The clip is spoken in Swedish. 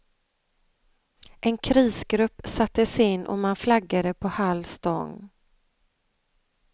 En krisgrupp sattes in och man flaggade på halv stång.